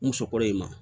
N muso kɔrɔ in ma